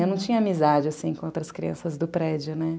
Eu não tinha amizade, assim, com outras crianças do prédio, né?